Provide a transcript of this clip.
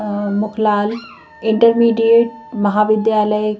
अ Mukhlal intermediate महाविद्यालय--